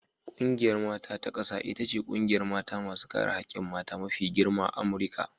Ƙungiyar mata ta ƙasa ita ce ƙungiyar mata masu kare hakkin mata mafi girma a Amurika.